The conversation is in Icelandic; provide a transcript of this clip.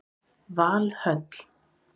Valhöll